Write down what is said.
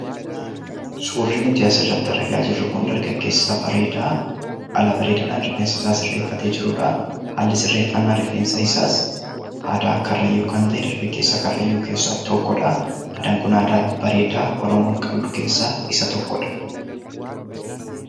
Suurri nuti asirratti argaa jirru kun dargaggeessa bareedaa haala bareedaadhaan rifeensa isaa sirreeffatee jirudha. Haalli sirreeffannaa rifeensa isaas aadaa Karrayyuu kan ta’e keessaa tokkodha. Aadaan kun aadaa bareedaa Oromoon qabdu keessaa isa tokkodha.